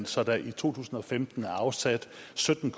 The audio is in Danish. så der i to tusind og femten er afsat sytten